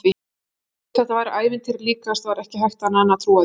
Og þó þetta væri ævintýri líkast var ekki hægt annað en trúa því.